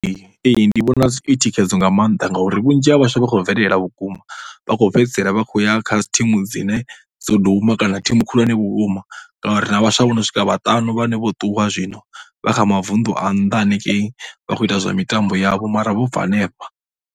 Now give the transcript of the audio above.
Ee, ndi vhona i thikhedzo nga maanḓa ngauri vhunzhi ha vhaswa vha khou bvelela vhukuma. Vha khou fhedzisela vha khou ya kha dzi thimu dzine dzo duma kana thimu khulwane vhukuma. Nga uri ri na vhaswa vha no swika vhaṱanu vhane vho ṱuwa zwino vha kha mavunḓu a nnḓa hanengei vha khou ita zwa mitambo yavho mara vho bva henefha.